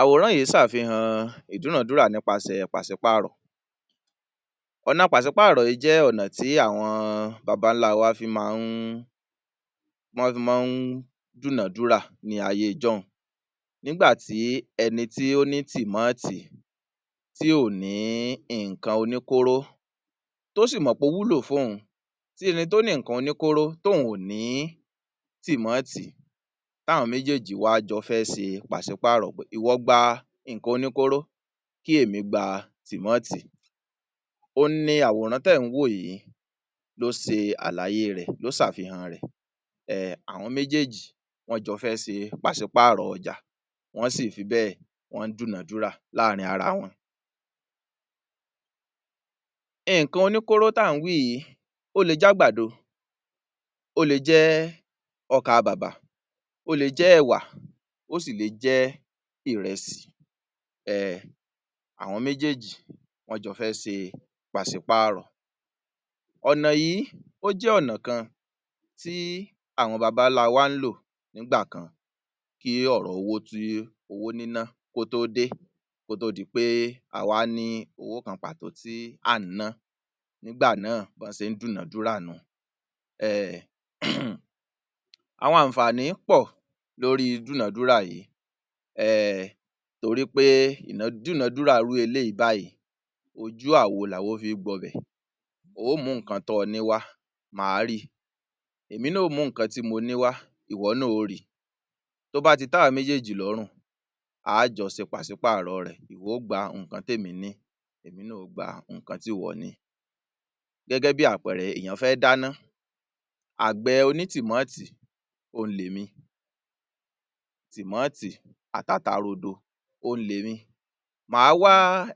Àwòrán yìí ṣe àfihàn ìdúnàdúrà nípasẹ̀ pàṣípàrọ̀, ọ̀nà pàṣípàrọ̀ yìí jẹ́ ọ̀nà tí àwọn bàbá ńlá wa fi máa ń, lọ́ fi máa ń dúnàdúrà ní ayé ijọ́hun. Nígbà tí ẹni tí ó ní tìmáàtì tí ò ní nǹkan oní kóró tó sì mọ̀ pé ó wúlò fún òhun, tí ẹni tó ni nǹkan oní kóró tí òun ò ní tìmáàtì, tí àwọn méjèjì jọ wá fẹ́ ṣe pàṣípàrọ̀, ìwọ gba nǹkan oní kóró, kí èmí gba tìmáàtì. Òun ni àwọ̀rán tí ẹ̀ ń wò yìí ń ṣe àlàyé rẹ̀, ló ṣe àfihàn rẹ̀. um Àwọn méjèjì, wọ́n jọ fẹ́ ṣe pàṣípàrọ̀ ọjà, wọ́n si fi bẹ́, wọ́n dúnàdúrà láàrin ara wọn. Nǹkan oníkóró tí à ń wí yìí, ó le jẹ́ àgbàdo, ó le jẹ́ ọkà-bàbà, ó le jẹ́ ẹ̀wà, ó sì le jẹ́ ìrẹsì, um àwọn méjèjì wọ́n jọ fẹ́ ṣe pàṣípàrọ̀, ọ̀nà yìí, ó jẹ́ ọ̀nà kan tí àwọn baba ńla wa ń lò nígbà kan, kí owó tí owó nínà, kó tó dé, kó tó di pé a wá ní owó kan pàtó tí à ń ná, nígbà náà bọ́ ṣe ń dúnàdúrà nìhun. um Àwọn àǹfààní pọ̀ lóri dúnadúrà yìí, um torí pé ìna-dúradúnà irú eléyìí báyìí, ojú àwo làwo fi ń gbọbẹ̀, o ó mú nǹkan tọ́ ọ ní wá, mà á ri, èmi náà ó mú nǹkan tí mo ní wá, ìwo náà ó ri - tó bá ti tẹ́ àwa méjèjì lọ́rùn, a á jọ ṣe pàṣí pàrọ̀ rẹ̀, ìwọ ó gba nǹkan tí èmi ní, èmi náà ó gba ǹnkan tí ìwọ ní. Gẹ́gẹ́ bí àpẹẹrẹ, èèyàn fẹ́ dáná, àgbẹ̀ oní tìmáàtì òun lèmi - tìmáàtì àti ata rodo òun lèmi, mà á wá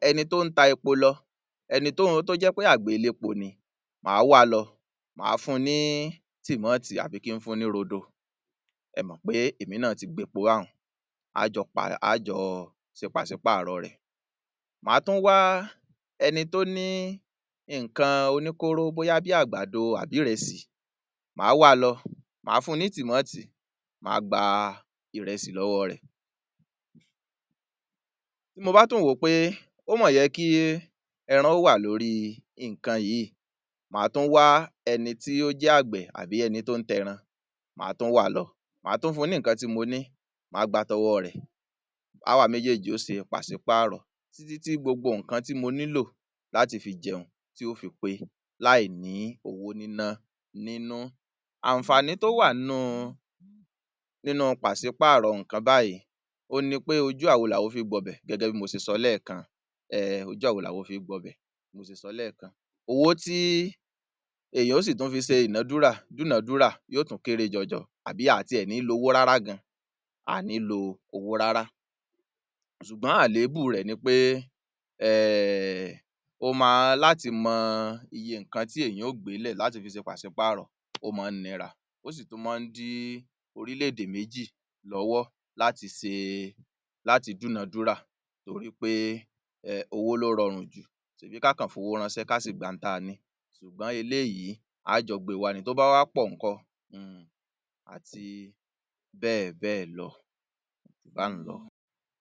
ẹni tó ń ta epo lọ, ẹni tó jẹ́ pé àgbẹ̀ elépo ni, mà á wa lọ, mà á fún ni tìmáàtì àbí kí ń fún ní rodo, ẹ mọ̀ pé èmi náà ti gbẹpo báhun, a á jọ pa, a á jọ ṣe pàṣípàrọ̀ rẹ̀, mà á tún wá ẹni tó ní nǹkan oníkóró bóyá bí a àgbàdo àbí ìrẹsì, máa wa lọ, mà á fún ní tìmáàtì, mà á gba ìrẹsì lọ́wọ́ rẹ̀. Tí mo bá tún wò ó pé ó máa yẹ kí ẹran wà lórí nǹkan yìí, mà á tún wá ẹni tí ó jẹ́ àgbẹ̀ àbí ẹni tó ń ta ẹran, mà á tún wa lọ, mà á tún fún ní nǹkan tí mo ní, mà á gba tọwọ́ rẹ̀, báwa méjèjì ó ṣe pàṣípàrọ̀ títítí gbogbo nǹkan tí mo nílò láti fi jẹun ti yóò fi pé láì ní owó níná nínú. Àǹfààní tó wà nínú nínú - nínú pàṣípàrọ̀ nǹkan báyìí, òhun ni pé ojú àwo làwo fi ń gbọbẹ̀ gẹ́gẹ́ bí mo ṣe sọ lẹ́èkan, um ojú àwo làwo fi ń gbọbẹ̀, bí mo ṣe sọ lẹ́ẹ̀kan. Owó tí èèyàn ó sì tún fi ṣe ìnadúrà dúnádúrà yóò tún kéré jọjọ àbí a tiẹ̀ ní lo owó rárá gan, à ní lo owó rárá. Ṣùgbọ́n àléébù rẹ̀ ni pé um ó máa - láti mọ iye nǹkan tí èèyàn ó gbé lẹ̀ láti fi ṣe pàṣípàrọ̀ ó máa ń nira, ó sì tún máa ń dí orílè-èdè méjì lọ́wọ́ láti se - láti dúnàdúrà torí pé um owó ló rọrùn jù, ṣèbí ká kàn fowó ránṣẹ́ ká sì gba ohun tá ní, ṣùgbọ́n eléyìí á jọ gbé wá ni, tó bá wá pọ̀ ńkọ́[um] àti bẹ́ẹ̀ bẹ́ẹ̀ lọ, kò ju báhun lọ.